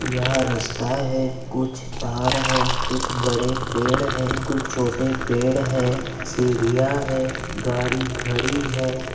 यहा रस्ता है कुछ तार है कुछ बड़े पेड़ है कुछ छोटे पेड़ है सिडिया है गाडी खड़ी है।